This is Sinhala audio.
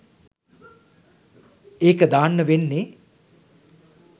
ඒක දාන්න වෙන්නෙ